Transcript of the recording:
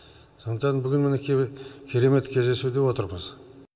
сондықтан бүгін мінеки керемет кездесуде отырмыз